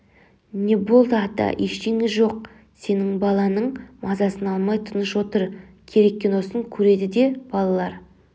не болды ата ештеңе жоқ сен баланың мазасын алмай тыныш отыр керек киносын көреді де балалар